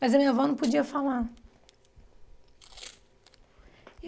Mas a minha avó não podia falar.